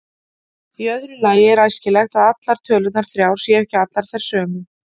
Í öðru lagi er æskilegt að tölurnar þrjár séu ekki allar þær sömu.